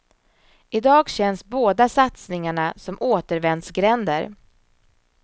I dag känns båda satsningarna som återvändsgränder.